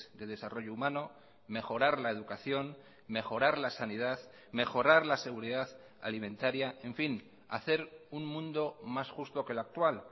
de desarrollo humano mejorar la educación mejorar la sanidad mejorar la seguridad alimentaria en fin hacer un mundo más justo que el actual